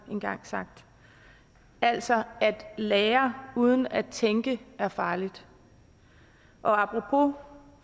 engang sagt altså at lære uden at tænke er farligt og apropos